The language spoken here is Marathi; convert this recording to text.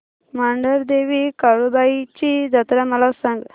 मांढरदेवी काळुबाई ची जत्रा मला सांग